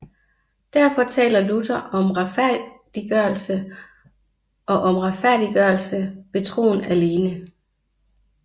Derfor taler Luther om retfærdiggørelse og om retfærdiggørelse ved troen alene